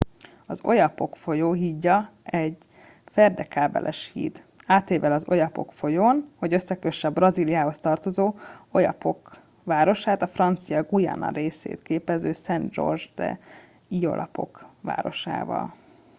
az oyapock folyó hídja egy ferdekábeles híd átível az oyapock folyón hogy összekösse a brazíliához tartozó oiapoque városát a francia guyana részét képező saint georges de l'oyapock városával